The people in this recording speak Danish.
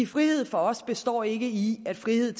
frihed for os består ikke i en frihed